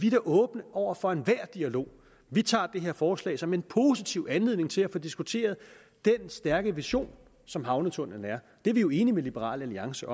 er åbne over for enhver dialog vi tager det her forslag som en positiv anledning til at få diskuteret den stærke vision som havnetunnellen er det er vi jo enige med liberal alliance